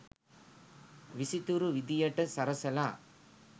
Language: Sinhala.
විසිතුරු විදියට සරසලා